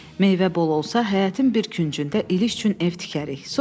Meyvə bol olsa həyətin bir küncündə İliç üçün ev tikərik.